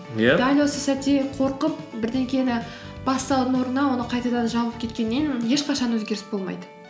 иә дәл осы сәтте қорқып бірдеңені бастаудың орнына оны қайтадан жауып кеткеннен ешқашан өзгеріс болмайды